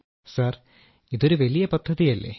Rajesh Prajapati sir ഇതൊരു വലിയ പദ്ധതിയല്ലേ